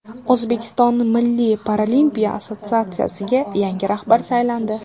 O‘zbekiston Milliy paralimpiya assotsiatsiyasiga yangi rahbar saylandi.